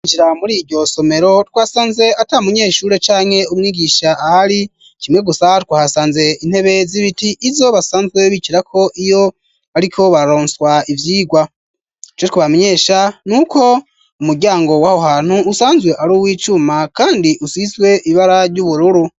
Injira muri iryo somero twasanze ata munyeshure canke umwigisha ahari kimwe gusa twahasanze intebe z'ibiti izo basanzwe bicira ko iyo ariko baronswa ivyigwa co twabamenyesha n'uko umuryango waho hantu usanzwe ari uw'icuma kandi usizwe ibara ry'ubururu.